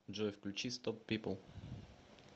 джой включи стоп пипл